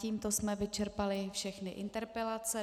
Tímto jsme vyčerpali všechny interpelace.